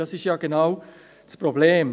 Das ist genau das Problem.